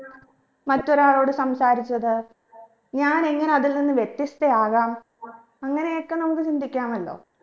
മറ്റൊരാളോട് സംസാരിച്ചത് ഞാൻ എങ്ങനെ അതിൽ നിന്ന് വ്യത്യസ്ഥയാകാം അങ്ങനെയൊക്കെ നമുക്ക് ചിന്തിക്കാമല്ലോ